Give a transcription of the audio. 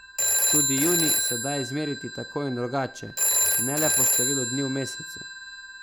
Tudi junij se da izmeriti tako in drugače, ne le po številu dni v mesecu.